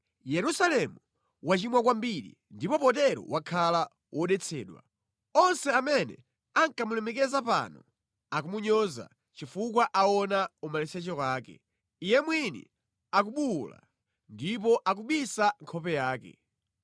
Yerusalemu wachimwa kwambiri ndipo potero wakhala wodetsedwa. Onse amene ankamulemekeza pano akumunyoza, chifukwa aona umaliseche wake. Iye mwini akubuwula ndipo akubisa nkhope yake.